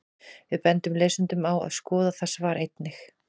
Við bendum lesendum á að skoða það svar einnig.